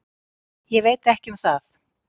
Ég veit ekki um það.